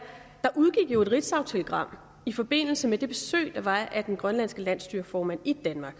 jo udgik et ritzautelegram i forbindelse med det besøg der var af den grønlandske landsstyreformand i danmark